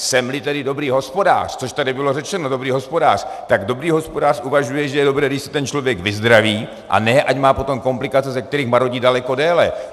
Jsem-li tedy dobrý hospodář, což tady bylo řečeno, dobrý hospodář, tak dobrý hospodář uvažuje, že je dobré, když se ten člověk vyzdraví, a ne ať má potom komplikace, ze kterých marodí daleko déle.